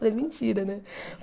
Falei, mentira, né?